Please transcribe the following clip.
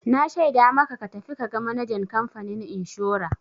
Na shaida maka ka tafi ka ga manajan kamfanin inshora!